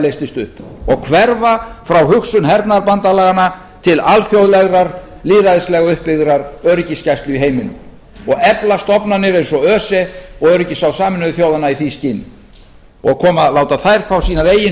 leystist upp og hverfa frá hugsun hernaðarbandalaganna til alþjóðlegrar lýðræðislegrar uppbyggðrar öryggisgæslu í heiminum og efla stofnanir eins og öse og öryggisráð sameinuðu þjóðanna í því skyni og láta þær fá sínar eigin